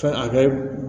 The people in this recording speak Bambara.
Fɛn a kɛ